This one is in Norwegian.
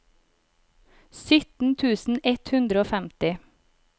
sytten tusen ett hundre og femti